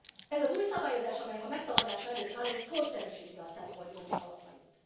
Ez az új szabályozás, amelynek a megszavazása előtt állunk, korszerűsíti a CEPOL jogi alapjait.